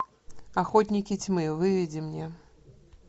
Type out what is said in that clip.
охотники тьмы выведи мне